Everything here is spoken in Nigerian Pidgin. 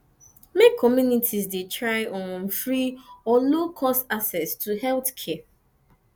make communities try get um free or low cost access to healthcare